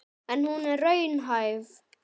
En er hún raunhæf?